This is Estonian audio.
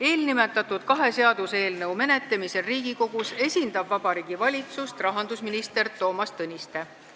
Eelnimetatud kahe seaduseelnõu menetlemisel Riigikogus esindab Vabariigi Valitsust rahandusminister Toomas Tõniste.